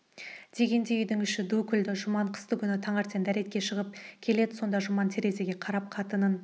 дегенде үйдің іші ду күлді жұман қыстыгүні таңертең дәретке шығып келеді сонда жұман терезеге қарап қатынын